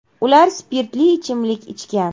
Ular spirtli ichimlik ichgan.